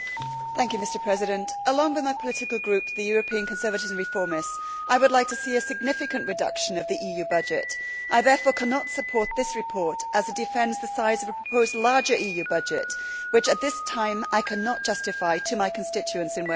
Mr President, along with my political group, the European Conservatives and Reformists, I would like to see a significant reduction of the EU budget. I therefore cannot support this report, as it defends the size of a proposed, larger EU budget, which at this time I cannot justify to my constituents in Wales.